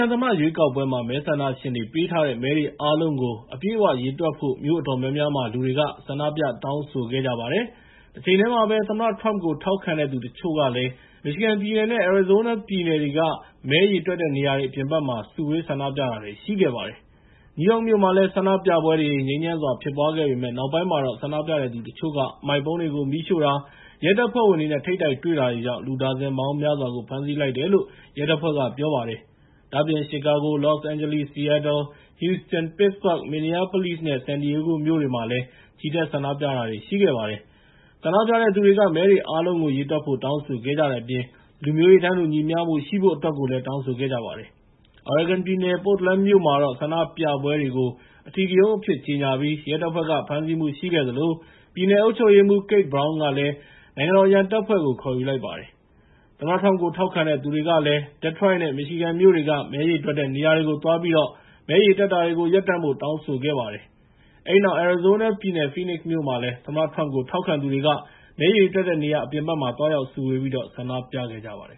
န်သမ္မတရွေးကောက်ပွဲမှာ မဲဆန္ဒရှင်တွေပေးထားတဲ့ မဲတွေအားလုံးကို အပြည့်အဝရေတွက်ဖို့ မြို့တော်အများများမှာ လူတွေက ဆန္ဒပြတောင်းဆိုခဲ့ကြပါတယ်။ တချိန်တည်းမှာပဲ သမ္မတထရမ့်ပ်ကို ထောက်ခံတဲ့သူတချို့ကလည်း မီရှီဂန်ပြည်နယ်နဲ့ အရီဇိုးနားပြည်နယ်တွေက မဲရေတွက်တဲ့ နေရာအပြင်ဘက်မှာ စုဝေးဆန္ဒပြတာတွေ ရှိခဲ့ကြပါတယ်။ နယူးယောက်မြို့မှာလည်း ဆန္ဒပြပွဲတွေ ငြိမ်းချမ်းစွာ ဖြစ်ပွားခဲ့ပေမဲ့ နောက်ပိုင်းမှာတော့ ဆန္ဒပြတဲ့သူတချို့က အမှိုက်ပုံးတွေကို မီးရှို့တာ၊ ရဲတပ်ဖွဲ့ဝင်တွေနဲ့ ထိပ်တိုက်တွေ့ခဲ့တာကြောင့် လူဒါဇင်ပေါင်းများစွာကို ဖမ်းဆီးလိုက်တယ်လို့ ရဲတပ်ဖွဲ့က ပြောပါတယ်။ ဒါ့အပြင် Chicago, Los Angeles, Seattle, Houston, Pittsburg, Minneapolis နဲ့ San Diego မြို့တွေမှာလည်း ချီတက်ဆန္ဒပြခဲ့ကြတာပါ။ ဆန္ဒပြတဲ့သူတွေက မဲတွေအားလုံးကို ရေတွက်ဖို့ တောင်းဆိုခဲ့ကြတဲ့အပြင် လူမျိုးရေးတန်းတူညီမျှရှိဖို့ အတွက်ကိုလည်း တောင်းဆိုခဲ့ကြပါတယ်။ Oregon ပြည်နယ် Portland မြို့မှာောတ့ ဆန္ဒပြပွဲတွေကို အဓိကရုဏ်းအဖြစ်ကြေငြာပြီး ရဲတပ်ဖွဲ့က ဖမ်းဆီးမှုရှိခဲ့သလို ပြည်နယ်အုပ်ချုပ်ရေးမှူး Kate Brown က နိုင်ငံတော်အရန်တပ်ဖွဲ့တွေကို ခေါ်ယူလိုက်ပါတယ်။ သမ္မတထရမ့်ကို ထောက်ခံတဲ့သူတွေကလည်း Detroit နဲ့ Michigan မြို့တွေက မဲရေတွက်တဲ့နေရာကို သွားပြီး မဲရေတွက်တာတွေကို ရပ်တန့်ဖို့ တောင်းဆိုခဲ့ကြပါတယ်။ အဲဒီနောက် အရီဇိုးနားပြည်နယ် Phoenix မြို့မှာလည်း သမ္မတထရမ့်ကို ထောက်ခံသူတွေက မဲရေတွက်တဲ့နေရာအပြင်ဘက်မှာ သွားရောက်စုဝေးပြီးတော့ ဆန္ဒပြခဲ့ကြပါတယ်